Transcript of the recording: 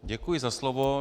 Děkuji za slovo.